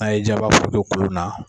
N''a ye diya i ba foroto kolon na.